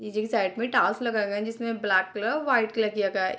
नीचे के साइड में टालस लगा हुआ है जिसमे ब्लैक कलर वाइट कलर किया गया है।